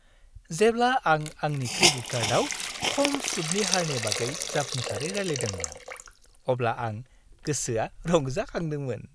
जेब्ला आं आंनि क्रेडिट कार्डआव खम सुदनि हारनि बागै जाफुंसारै रायलायदोंमोन, अब्ला आं गोसोआ रंजाखांदोंमोन।